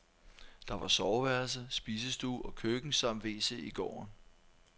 Der var soveværelse, spisestue og køkken samt wc i gården.